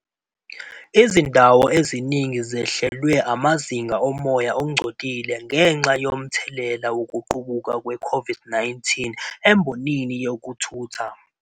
Izindawo eziningi zehlelwe amazinga omoya ongcolile ngenxa yomthelela wokuqubuka kwe-COVID-19 embonini yezokuthutha.